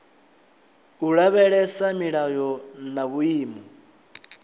u lavhelesa milayo na vhuimo